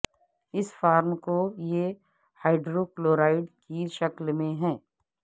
اس form کو یہ hydrochloride کی شکل میں ہے